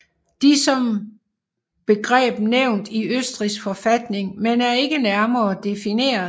De er som begreb nævnt i Østrigs forfatning men er ikke nærmere defineret